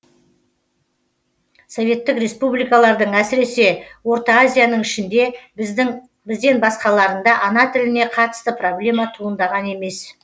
советтік республикалардың әсіресе орта азияның ішінде бізден басқаларында ана тіліне қатысты проблема туындаған емес